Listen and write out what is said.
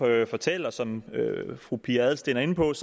jeg fortælle som fru pia adelsteen er inde på at